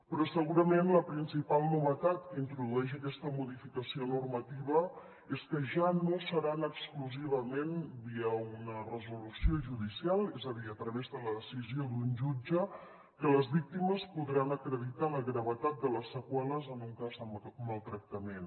però segurament la principal novetat que introdueix aquesta modificació normativa és que ja no seran exclusivament via una resolució judicial és a dir a través de la decisió d’un jutge que les víctimes podran acreditar la gravetat de les seqüeles en un cas de maltractament